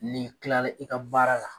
Nin kilala i ka baara la